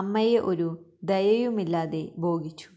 അമ്മയെ ഒരു ദയയും ഇല്ലാതെ ബോഗിച്ചു